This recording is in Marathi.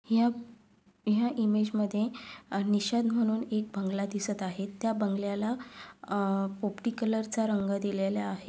या या इमेजमध्ये अह निषाद महणून एक बंगला दिसत आहे. त्या बंगल्याला अह पोपटी कलरचा रंग दिलेल्या आहे.